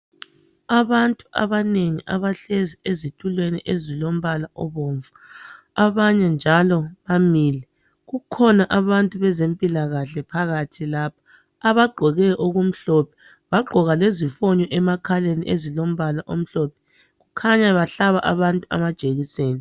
Abantu abanengi abahlezi ezitulweni ezilombala obomvu abanye njalo bamile kukhona abantu bezempilakahle phakathi lapha abagqoke okumhlophe bagqoka lezifonyo emakhaleni ezilombala omhlophe kukhanya bahlaba abantu amajekiseni.